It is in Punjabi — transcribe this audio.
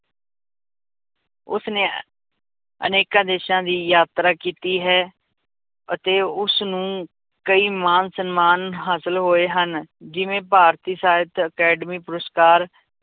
ਉਸਨੇ ਅਨੇਕਾਂ ਦੇਸਾਂ ਦੀ ਯਾਤਰਾ ਕੀਤੀ ਹੈ, ਅਤੇ ਉਸਨੂੰ ਕਈ ਮਾਨ ਸਨਮਾਨ ਹਾਸਿਲ ਹੋਏ ਹਨ, ਜਿਵੇਂ ਭਾਰਤੀ ਸਾਹਿਤ ਅਕੈਡਮੀ ਪੁਰਸਕਾਰ